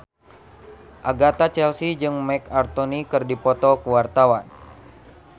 Agatha Chelsea jeung Marc Anthony keur dipoto ku wartawan